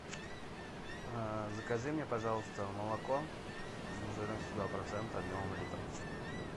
закажи мне пожалуйста молоко жирностью два процента объемом литр